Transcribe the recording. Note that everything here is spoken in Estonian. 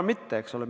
Ma arvan, et mitte.